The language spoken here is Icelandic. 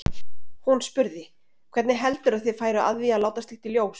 Hún spurði: Hvernig heldurðu að þeir færu að því að láta slíkt í ljós?